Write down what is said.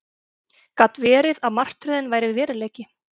Gat verið að martröðin væri veruleiki?